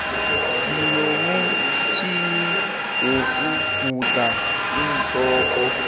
sinomutjhini wokuguda iinhloko